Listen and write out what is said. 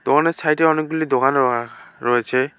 দোকানের সাইটে অনেকগুলি দোকান অ রয়েছে।